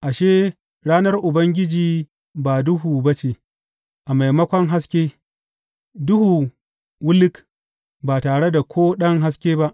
Ashe, ranar Ubangiji ba duhu ba ce, a maimakon haske, duhu wuluk, ba tare da ko ɗan haske ba.